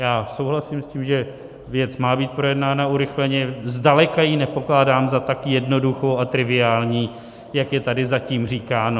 Já souhlasím s tím, že věc má být projednána urychleně, zdaleka ji nepokládám za tak jednoduchou a triviální, jak je tady zatím říkáno.